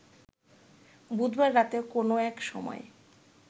বুধবার রাতের কোনো এক সময়